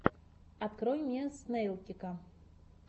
открой мне снэйлкика